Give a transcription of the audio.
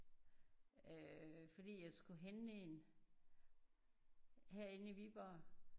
Øh fordi jeg skulle hente en herinde i Viborg